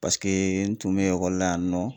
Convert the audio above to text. Paseke n tun be ekɔli la yan nɔ